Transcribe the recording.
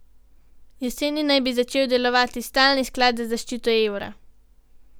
Jeseni naj bi začel delovati stalni sklad za zaščito evra.